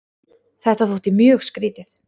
Þetta þótti mjög skrýtið.